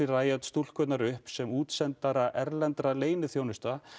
Riot stúlkurnar upp sem útsendara erlendu leyniþjónustunnar